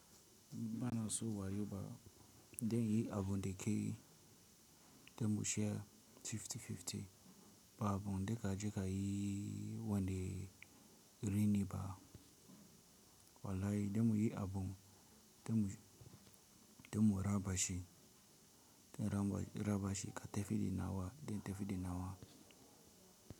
Bana so wayo ba, den yi abun dekeyi den mu share fifty-fifty, ba abun de ka je ka yi won de reni ba. Walai den mu yi abun den mu, den mu raba shi, den raba shi ka tafi di nawa den tafi di nawa.